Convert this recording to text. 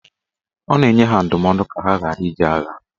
Ọ na-enye ha ndụmọdụ ka ha ghara ije agha.